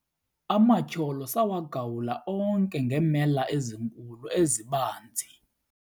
Amatyholo sawagawula onke ngeemela ezinkulu ezibanzi.